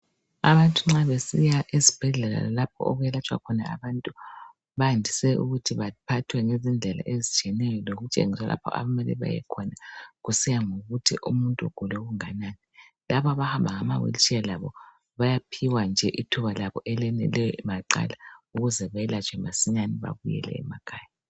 Abantu nxa besiya esibhedlela lapho okwelatshwa khona abantu bandise ukuthi baphathwe ngendlela ezitshiyeneyo lokutshengiswa lapho okumele bayekhona kusiya ngokuthi umuntu ugula okunganani. Labo abahamba ngamawilitsheya loba bayaphiwa ithuba labo eleneyo maqala ukuze belatshwe masinyane babuye emakhaya.